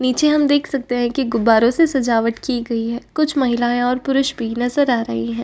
नीचे हम देख सकते हैं कि गुब्बारोंसे सजावट की गई है। कुछ महिलाएं और पुरुष भी नजर आ रहे हैं।